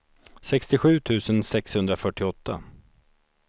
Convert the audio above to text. sextiosju tusen sexhundrafyrtioåtta